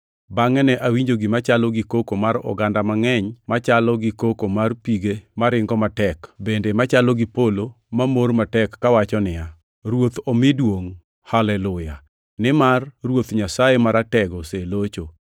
Bangʼe ne awinjo gima chalo gi koko mar oganda mangʼeny machalo gi koko mar pige maringo matek, bende machalo gi polo mamor matek, kawacho niya, “Ruoth omi duongʼ! Haleluya! Nimar Ruoth Nyasaye Maratego olosecho.